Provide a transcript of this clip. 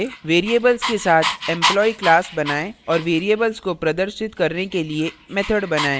स्वमूल्यांकन के लिए variables के साथ employee class बनाएँ और variables को प्रदर्शित करने के लिए method बनाएँ